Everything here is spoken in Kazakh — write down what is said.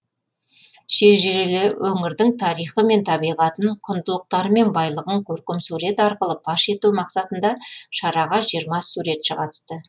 шежірелі өңірдің тарихы мен табиғатын құндылықтары мен байлығын көркемсурет арқылы паш ету мақсатындағы шараға жиырма суретші қатысты